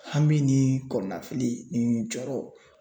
Hami ni kɔnɔnafili ni jɔɔrɔ